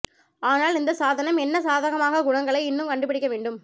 ஆனால் இந்த சாதனம் என்ன சாதகமான குணங்களை இன்னும் கண்டுபிடிக்க வேண்டும்